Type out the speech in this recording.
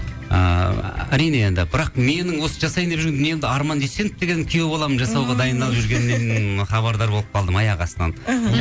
ыыы әрине енді бірақ менің осы жасайын деп жүрген дүниемді арман дүйсенов деген күйеу балам жасауға дайындалып жүргеннен хабардар болып қалдым аяқ астынан іхі